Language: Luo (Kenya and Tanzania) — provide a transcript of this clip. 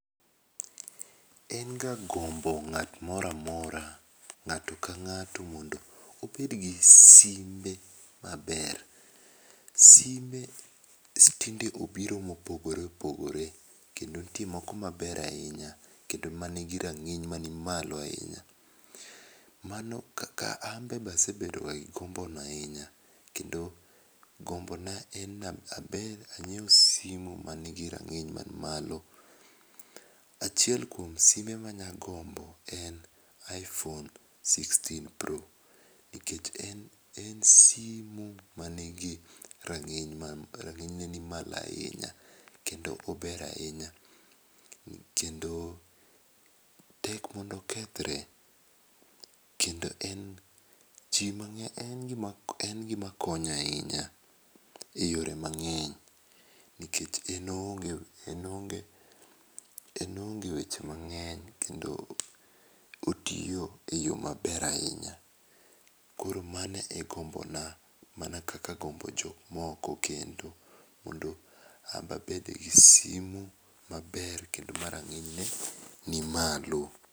En ga gombo ng'at moro amora, ng'ato ka ng'ato mondo obed gi simbe ma ber. Simbe tinde obiro ma opogore opogore kendo nitie moko ma ber ahinya kendo ma ni gi rang'iny ma ni malo ahinya. Mano kaka an be asebedo gi gombo no ahinya, kendo gombo na en ni abed gi simo ma ni gi rang'iny man malo. Achiel kuom simbe ma anya gombo en iphone 16 pro nikech en en simo manigi ranginy ma ni rang'iny ne ni malo ahinya, Kendo ober ahinya kendo tek mondo okethre kendo en ji mang'eny en gi ma konyo ahinya e yore mang'eny nikech en oonge, en oonge weche mang'eny kendo otiyo e yo ma ber ahinya. Koro mano e gombo na mana kaka agombo gomb jo moko kendo mondo an be abede gi simo maber kendo ma rang'iny ne ni malo,